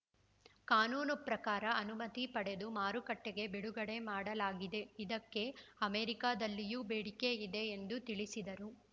ಕಾನೂನು ಪ್ರಕಾರ ಅನುಮತಿ ಪಡೆದು ಮಾರುಕಟ್ಟೆಗೆ ಬಿಡುಗಡೆ ಮಾಡಲಾಗಿದೆ ಇದಕ್ಕೆ ಅಮೆರಿಕಾದಲ್ಲಿಯೂ ಬೇಡಿಕೆ ಇದೆ ಎಂದು ತಿಳಿಸಿದರು